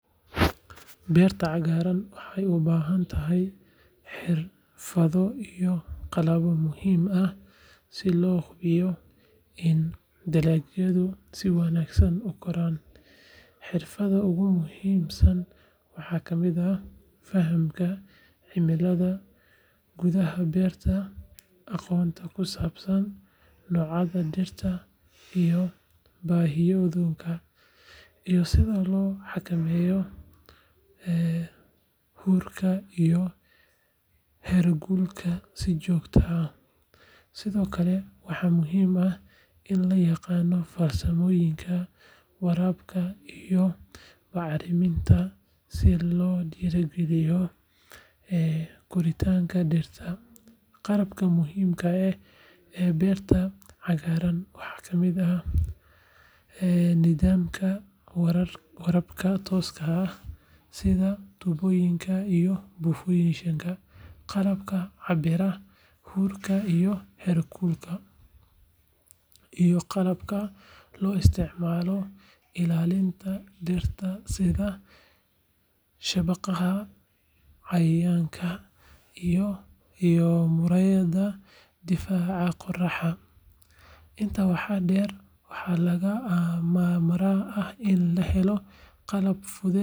Beerta cagaaran waxay u baahan tahay xirfado iyo qalabyo muhiim ah si loo hubiyo in dalagyadu si wanaagsan u koraan. Xirfadaha ugu muhiimsan waxaa ka mid ah fahamka cimilada gudaha beerta, aqoonta ku saabsan noocyada dhirta iyo baahiyahooda, iyo sida loo xakameeyo huurka iyo heerkulka si joogto ah. Sidoo kale, waxaa muhiim ah in la yaqaan farsamooyinka waraabka iyo bacriminta si loo dhiirrigeliyo koritaanka dhirta. Qalabka muhiimka ah ee beerta cagaaran waxaa ka mid ah nidaamka waraabka tooska ah sida tuubooyinka iyo buufiyeyaasha, qalabka cabbira huurka iyo heerkulka, iyo qalabka loo isticmaalo ilaalinta dhirta sida shabaqyada cayayaanka iyo muraayadaha difaaca qorraxda. Intaa waxaa dheer, waxaa lagama maarmaan ah in la helo qalab fudud sida.